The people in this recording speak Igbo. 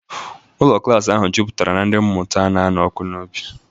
Ụlọ klaasị ahụ juputara na ndị mmụta na-anụ ọkụ n'obi.